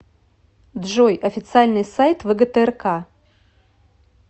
джой официальный сайт вгтрк